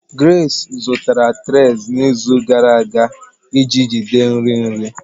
Grace zụtara trays n'izu gara aga iji jide nri nri.